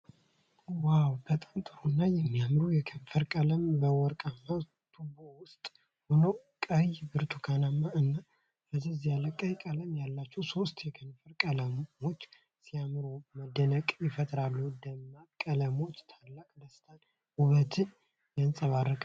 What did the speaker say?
ዋው! በጣም ጥሩ እና የሚያምር የከንፈር ቀለም! በወርቃማ ቱቦ ውስጥ ሆነው ቀይ፣ ብርቱካናማ እና ፈዘዝ ያለ ቀይ ቀለም ያላቸው ሶስት የከንፈር ቀለሞች ሲያምሩ መደነቅን ይፈጥራሉ። ደማቅ ቀለሞቹ ታላቅ ደስታንና ውበትን ያንጸባርቃሉ።